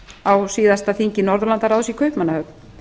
á síðasti þingi norðurlandaráðs í kaupmannahöfn